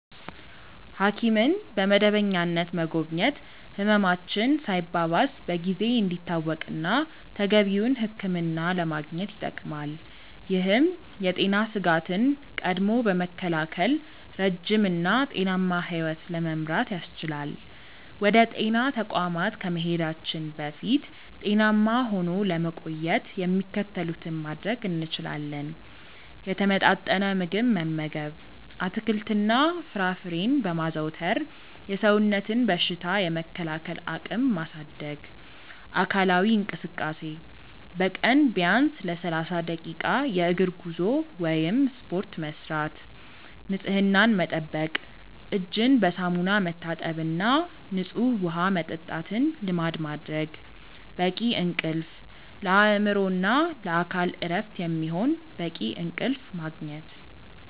ሐኪምን በመደበኛነት መጎብኘት ህመማችን ሳይባባስ በጊዜ እንዲታወቅና ተገቢውን ሕክምና ለማግኘት ይጠቅማል። ይህም የጤና ስጋትን ቀድሞ በመከላከል ረጅም እና ጤናማ ሕይወት ለመምራት ያስችላል። ወደ ጤና ተቋማት ከመሄዳችን በፊት ጤናማ ሆኖ ለመቆየት የሚከተሉትን ማድረግ እንችላለን፦ የተመጣጠነ ምግብ መመገብ፦ አትክልትና ፍራፍሬን በማዘውተር የሰውነትን በሽታ የመከላከል አቅም ማሳደግ። አካላዊ እንቅስቃሴ፦ በቀን ቢያንስ ለ30 ደቂቃ የእግር ጉዞ ወይም ስፖርት መስራት። ንፅህናን መጠበቅ፦ እጅን በሳሙና መታጠብና ንፁህ ውሃ መጠጣትን ልማድ ማድረግ። በቂ እንቅልፍ፦ ለአእምሮና ለአካል እረፍት የሚሆን በቂ እንቅልፍ ማግኘት።